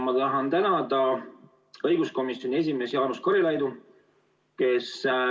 Ma tahan tänada õiguskomisjoni esimeest Jaanus Karilaidu.